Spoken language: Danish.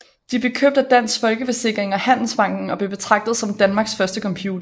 De blev købt af Dansk Folkeforsikring og Handelsbanken og blev betragtet som Danmarks første computere